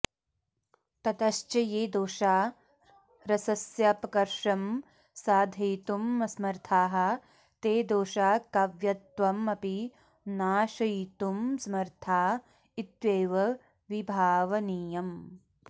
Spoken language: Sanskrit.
ततश्च ये दोषा रसस्यापकर्षं साधयितुमसमर्थाः ते दोषा काव्यत्वमपि नाशयितुमसमर्था इत्येव विभावनीयम्